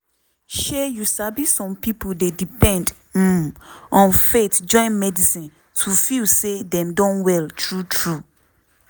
shey you sabi some pipo dey depend um on faith join medicine to feel say dem don well true true.